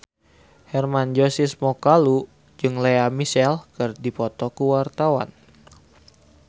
Hermann Josis Mokalu jeung Lea Michele keur dipoto ku wartawan